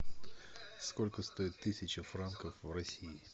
сколько стоит тысяча франков в россии